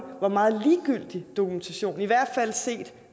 hvor meget ligegyldig dokumentation i hvert fald set